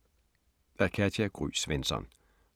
Af Katja Gry Svensson